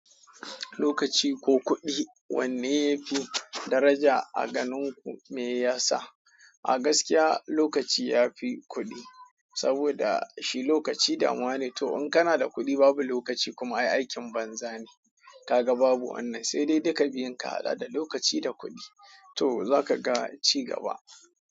Lokaci ko kudi wanne yafi daraja aganinku miyasa, agaskiya lokaci yafi kudi saboda shi lokaci damuwa ne, to in kana da kudi babu lokaci kuma ai aikin banza ne, kaga ai babu wannan sai dai duka biyun kahada da lokaci da kudi to zakaga ci gaba.